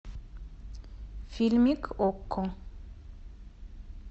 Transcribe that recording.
фильмик окко